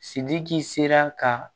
Sidiki sera ka